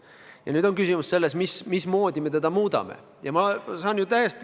Ja nüüd on küsimus, mismoodi me seda muudame.